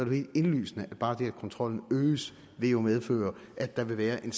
helt indlysende at bare det at kontrollen øges vil medføre at der vil være en